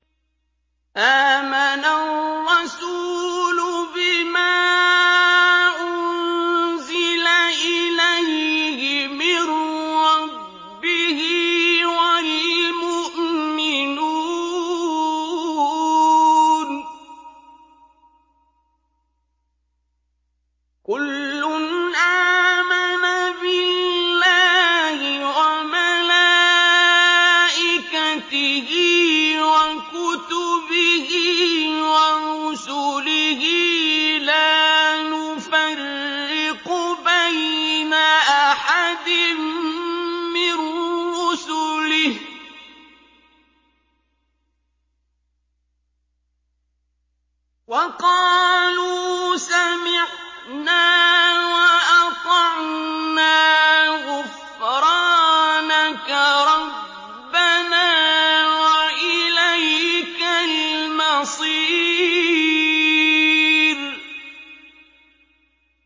آمَنَ الرَّسُولُ بِمَا أُنزِلَ إِلَيْهِ مِن رَّبِّهِ وَالْمُؤْمِنُونَ ۚ كُلٌّ آمَنَ بِاللَّهِ وَمَلَائِكَتِهِ وَكُتُبِهِ وَرُسُلِهِ لَا نُفَرِّقُ بَيْنَ أَحَدٍ مِّن رُّسُلِهِ ۚ وَقَالُوا سَمِعْنَا وَأَطَعْنَا ۖ غُفْرَانَكَ رَبَّنَا وَإِلَيْكَ الْمَصِيرُ